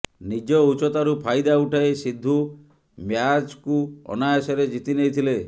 ନିଜ ଉଚ୍ଚତାରୁ ଫାଇଦା ଉଠାଇ ସିନ୍ଧୁ ମ୍ୟାଚ୍କୁ ଅନାୟାସରେ ଜିତି ନେଇଥିଲେ